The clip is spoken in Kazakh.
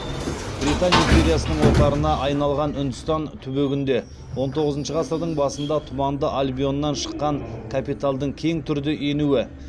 британ империясының отарына айналған үндістан түбегінде он тоғызыншы ғасырдың басында тұманды альбионнан шыққан капиталдың кең түрде енуі